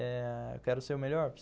Eh... eu quero ser o melhor